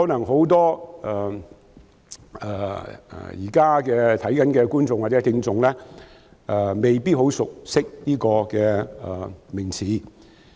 很多現正觀看會議直播的觀眾或聽眾可能未必很熟悉這名詞。